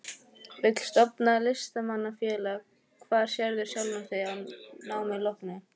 Vill stofna Listamanna-félag Hvar sérðu sjálfan þig að námi loknu?